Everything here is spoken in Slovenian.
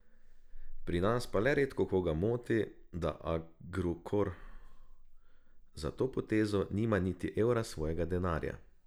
Pri nas pa le redkokoga moti, da Agrokor za to potezo nima niti evra svojega denarja.